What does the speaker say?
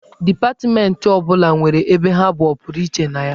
Dipatmentị ọ bụla nwere ebe ha bụ ọpụrụiche na ya.